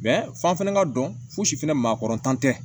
f'an fɛnɛ ka dɔn fosi fɛnɛ makɔrɔntan tɛ